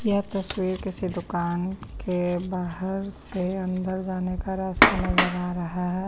यह तस्वीर किसी दुकान के बाहर से अंदर जाने का रास्ता नजर आ रहा--